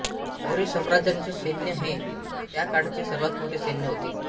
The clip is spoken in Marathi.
मौर्य साम्राज्याचे सैन्य हे त्याकाळचे सर्वांत मोठे सैन्य होते